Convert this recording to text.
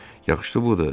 Yaxşıdı budur,